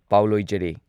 ꯄꯥꯎ ꯂꯣꯏꯖꯔꯦ